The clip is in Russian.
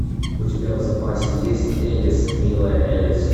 у тебя в запасе есть элис милая элис